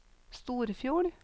Storfjord